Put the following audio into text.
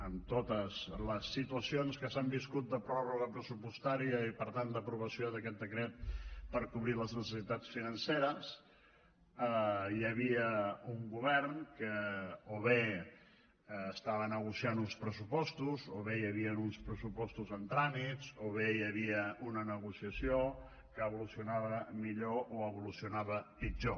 en totes les situacions que s’han viscut de pròrroga pressupostària i per tant d’aprovació d’aquest decret per cobrir les necessitats financeres o bé hi havia un govern que estava negociant uns pressupostos o bé hi havien uns pressupostos en tràmits o bé hi havia una negociació que evolucionava millor o evolucionava pitjor